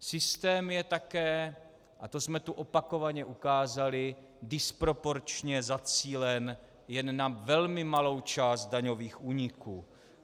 Systém je také, a to jsme tu opakovaně ukázali, disproporčně zacílen jen na velmi malou část daňových úniků.